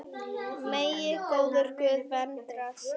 Megi góður Guð vernda þig.